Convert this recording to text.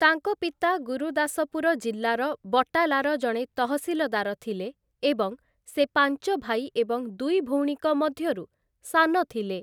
ତାଙ୍କ ପିତା ଗୁରୁଦାସପୁର ଜିଲ୍ଲାର ବଟାଲାର ଜଣେ ତହସିଲଦାର ଥିଲେ ଏବଂ ସେ ପାଞ୍ଚ ଭାଇ ଏବଂ ଦୁଇ ଭଉଣୀଙ୍କ ମଧ୍ୟରୁ ସାନ ଥିଲେ ।